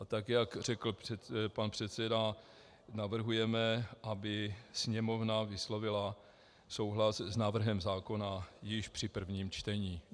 A tak jak řekl pan předseda, navrhujeme, aby Sněmovna vyslovila souhlas s návrhem zákona již při prvním čtení.